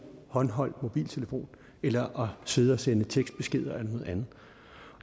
håndholdt mobiltelefon eller sidde og sende tekstbeskeder eller noget andet